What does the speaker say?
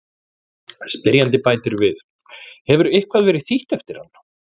Spyrjandi bætir við: Hefur eitthvað verið þýtt eftir hann?